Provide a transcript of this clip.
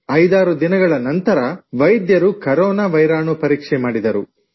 56 ದಿನಗಳ ನಂತರ ವೈದ್ಯರು ಕರೋನಾ ವೈರಾಣು ಪರೀಕ್ಷೆ ಮಾಡಿದರು